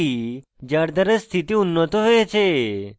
পদ্ধতি যার দ্বারা স্থিতি উন্নত হয়েছে